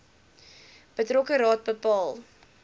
betrokke raad bepaal